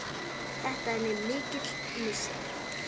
Þetta er mér mikill missir.